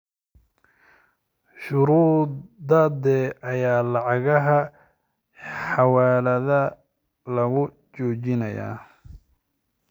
shuruudadee ayaa lacagaha xawiiladaa lagu jojinaayaa?